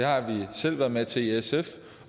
har vi selv været med til i sf